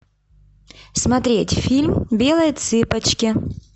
смотреть фильм белые цыпочки